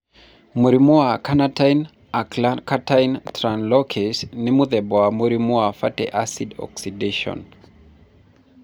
Mũrimũ wa Carnitine acylcarnitine translocase nĩ mũthemba wa mũrimũ wa fatty acid oxidation.